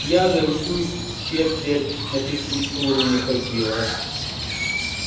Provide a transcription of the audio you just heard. я же всю четверть на физкультуру не ходила